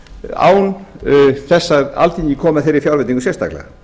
án þess að alþing komi að þeirri fjárveitingu sérstaklega